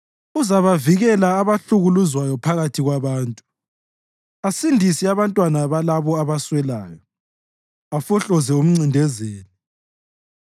Uzabavikela abahlukuluzwayo phakathi kwabantu asindise abantwana balabo abaswelayo afohloze umncindezeli.